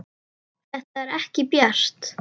Þetta er ekki bjart.